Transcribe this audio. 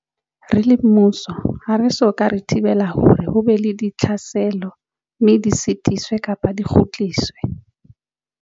Re le mmuso ha re so ka re thibela hore ho be le ditlhaselo mme di sitiswe kapa di kgutsiswe.